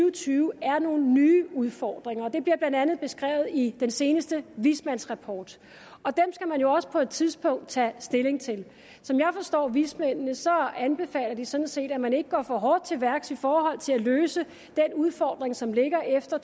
og tyve er nogle nye udfordringer og det bliver blandt andet beskrevet i den seneste vismandsrapport og dem skal man jo også på et tidspunkt tage stilling til som jeg forstår vismændene anbefaler de sådan set at man ikke går for hårdt til værks i forhold til at løse den udfordring som ligger efter